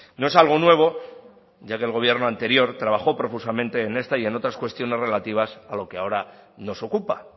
no es algo nuevo ya que el gobierno anterior trabajó profusamente en esta y en otras cuestiones relativas a lo que ahora nos ocupa